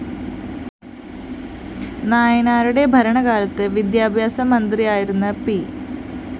നായനാരുടെ ഭരണകാലത്ത് വിദ്യാഭ്യാസമന്ത്രിയായിരുന്ന പി